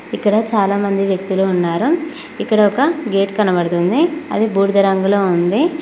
ఇక్కడ చాలా మంది వ్యక్తులు ఉన్నారు ఇక్కడ ఒక గేట్ కనబడుతుంది అది బూడిద రంగులో ఉంది.